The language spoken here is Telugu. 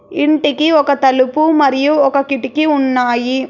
ఇంటికి ఒక తలుపు మరియు ఒక కిటికీ ఉన్నాయి.